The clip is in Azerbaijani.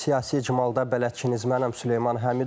Bu gün siyasi icmalda bələdçiniz mənəm Süleyman Həmidov.